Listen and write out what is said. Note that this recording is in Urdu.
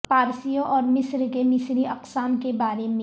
پارسیوں اور مصر کے مصری اقسام کے بارے میں